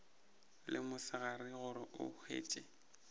le mosegare gore o hwetše